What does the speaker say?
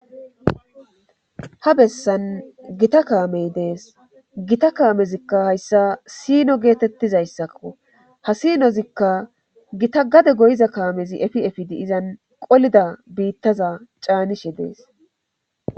ha bessan gita kaamey dees gita kaamezikka hayssa siino geetettizayssakko ha sinozikka gita gade goyiza kaamezi efi efidi izan qolida biittaza caanishe dees